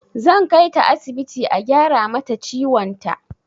Zan kaita asibiti a gyara mata ciwon ta.